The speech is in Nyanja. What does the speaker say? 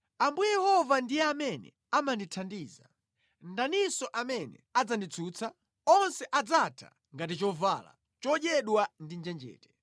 Ambuye Yehova ndiye amene amandithandiza. Ndaninso amene adzanditsutsa? Onse adzatha ngati chovala chodyedwa ndi njenjete.